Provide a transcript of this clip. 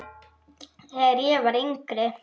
Þegar ég var yngri.